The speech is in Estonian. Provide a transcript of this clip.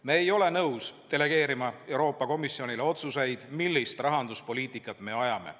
Me ei ole nõus delegeerima Euroopa Komisjonile otsuseid, millist rahanduspoliitikat me ajame.